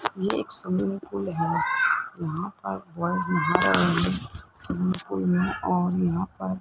ये एक swimming pool है यहां पर बॉयज नहा रहे हैं स्विमिंग पूल में और यहां पर --